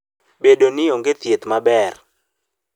Bedo ni onge thieth maber.